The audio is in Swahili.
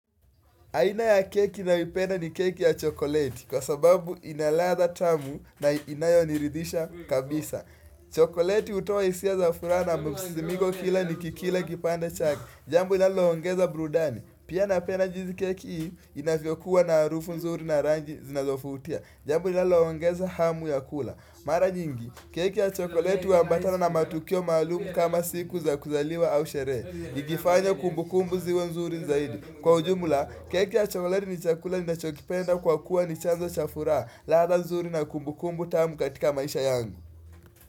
Aina ya keki nayoipenda ni keki ya chokoleti kwa sababu ina latha tamu na inayoniridhisha kabisa. Chokoleti hutoa hisia za furaha na msisimko kila nikikila kipande chake. Jambo inaloongeza burudani. Pia napenda jinsi keki hii inavyokuwa na arufu nzuri na rangi zinazovutia. Jambu inaloongeza hamu ya kula. Mara nyingi, keki ya chokoleti huambatana na matukio maalumu kama siku za kuzaliwa au sherehe ikifanya kumbukumbu ziwe nzuri zaidi. Kwa ujumula, keki ya chokoleti ni chakula ninachokipenda kwa kuwa ni chanzo cha furaha, ladha nzuri na kumbukumbu tamu katika maisha yangu.